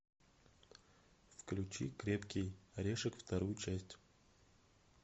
включи крепкий орешек вторую часть